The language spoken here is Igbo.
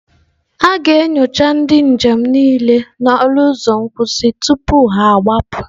A ga-enyocha ndị njem niile n'ọnụ ụzọ nkwụsị tupu ha agbapụ.